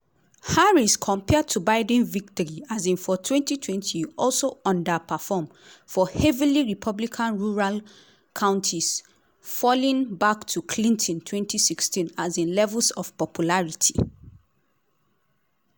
harris compared to biden victory um for 2020 also underperform for heavily republican rural counties falling back to clinton 2016 um levels of popularity.